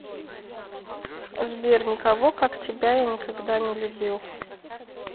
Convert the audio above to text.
сбер никого как тебя я никогда не любил